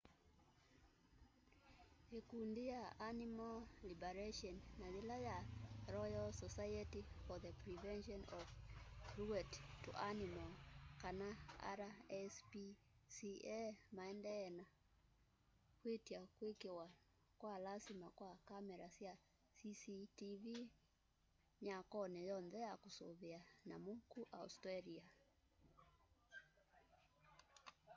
ikundi ya animal liberation na yila ya royal society for the prevention of cruelty to animals kana rspca maendeeye na kwitya kwikiwa kwa lasima kwa kamera sya cctv mwakoni yoonthe ya kusuvia nyamu ku australia